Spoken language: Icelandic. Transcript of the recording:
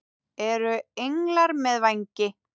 Eru englar með vængi?